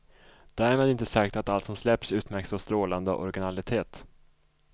Därmed inte sagt att allt som släpps utmärks av strålande originalitet.